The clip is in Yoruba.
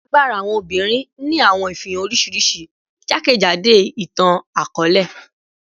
Agbara awọn obinrin ni awọn ifihan oriṣiriṣi jakejado itan-akọọlẹ